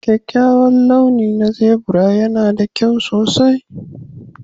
Kyakkyawar launi na zebra yana da kyau sosai